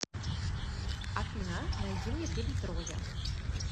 афина найди мне фильм троя